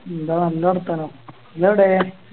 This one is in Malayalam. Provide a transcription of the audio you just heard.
എന്താ നല്ല വർത്താനം ഇങ്ങളെവിടെ